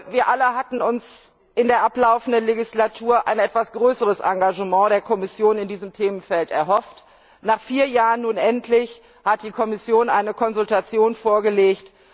Wir alle hatten uns in der ablaufenden Legislaturperiode ein etwas größeres Engagement der Kommission in diesem Themenfeld erhofft. Nach vier Jahren hat die Kommission nun endlich eine Konsultation vorgelegt.